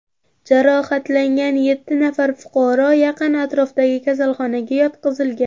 Jarohatlangan yetti nafar fuqaro yaqin atrofdagi kasalxonaga yotqizilgan.